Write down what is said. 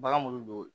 Bagan m'olu don